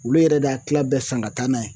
Olu yɛrɛ de y'a kila bɛɛ san ka taa n'a ye